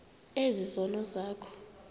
ezi zono zakho